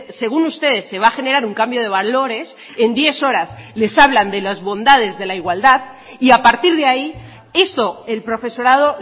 según ustedes se va a generar un cambio de valores en diez horas les hablan de las bondades de la igualdad y a partir de ahí eso el profesorado